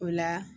O la